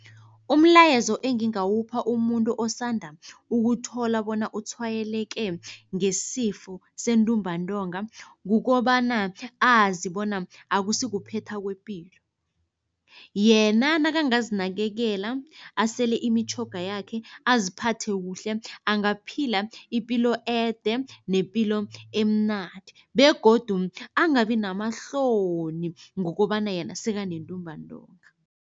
Umlayezo engingawupha umuntu osanda ukuthola bona utshwayeleke ngesifo sentumbantonga kukobana, azi bona akusikuphetha kwepilo. Yena nakangazinakekela, asele imitjhoga yakhe, aziphathe kuhle, angaphila ipilo ede nepilo emnandi begodu angabi namahloni ngokobana yena sekanentumbantonga.